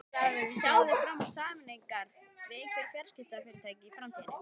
Sjáið þið fram á sameiningar við einhver fjarskiptafyrirtæki í framtíðinni?